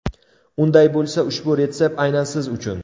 Unday bo‘lsa ushbu retsept aynan siz uchun!